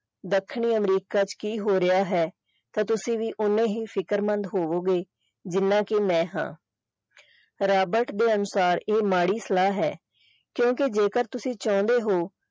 ਦੱਖਣੀ ਅਮਰੀਕਾ ਚ ਕੀ ਹੋ ਰਿਹਾ ਹੈ ਤੇ ਤੁਸੀਂ ਵੀ ਓਨੇ ਹੀ ਫ਼ਿਕਰਮੰਦ ਹੋਵੋਗੇ ਜਿੰਨਾ ਕਿ ਮੈਂ ਹਾਂ ਰਾਬਰਟ ਦੇ ਅਨੁਸਾਰ ਇਹ ਮਾੜੀ ਸਲਾਹ ਹੈ ਕਿਉਂਕਿ ਜੇਕਰ ਤੁਸੀਂ ਚਾਹੁੰਦੇ ਹੋ।